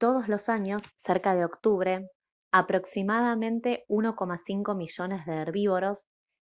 todos los años cerca de octubre aproximadamente 1,5 millones de herbívoros